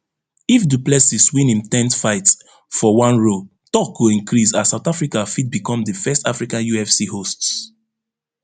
if du plessis win im ten th fight for one row tok go increase as south africa fit become di first african ufc hosts